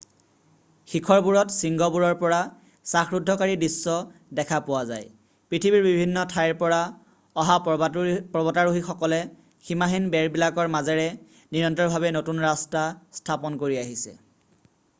শিখৰবোৰত শৃংগবোৰৰ পৰা শাসৰুদ্ধকাৰী দৃশ্য দেখা পোৱা যায় পৃথিৱীৰ বিভিন্ন ঠাইৰ পৰা অহা পৰ্বতাৰোহিসকলে সীমাহীন বেৰবিলাকৰ মাজেৰে নিৰন্তৰভাৱে নতুন ৰাস্তা স্থাপন কৰি আহিছে